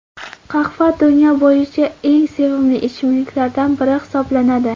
Qahva dunyo bo‘yicha eng sevimli ichimliklardan biri hisoblanadi.